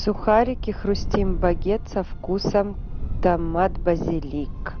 сухарики хрустим багет со вкусом томат базилик